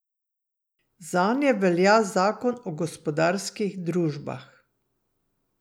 Zanje velja zakon o gospodarskih družbah.